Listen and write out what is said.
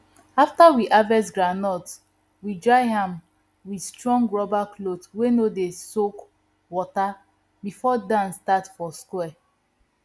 after we harvest groundnut we dry am with strong rubber cloth wey no dey soak water before dance start for square